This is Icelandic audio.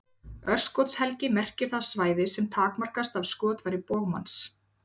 Örskotshelgi merkir það svæði sem takmarkast af skotfæri bogmanns.